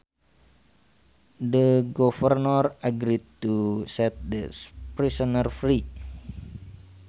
The governor agreed to set the prisoner free